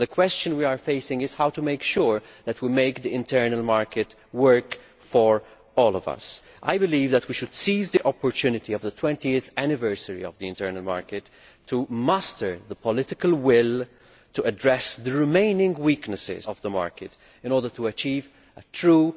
The question is how to ensure that we make the internal market work for all of us. I believe that we should seize the opportunity of the 20 th anniversary of the internal market to muster the political will to address the remaining weaknesses of the market, in order to achieve a truly